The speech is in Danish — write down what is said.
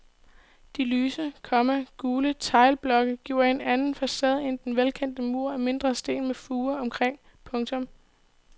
De lyse, komma gule teglblokke giver en anden facade end den velkendte mur af mindre sten med fuge omkring. punktum